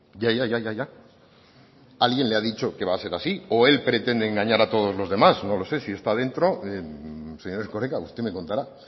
ya ya ya alguien le ha dicho que va a ser así o él pretende engañar a todos los demás no lo sé si está dentro señor erkoreka usted me contará